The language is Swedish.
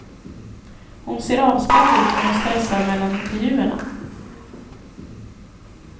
Hon ser avspänd ut när hon stressar mellan intervjuerna.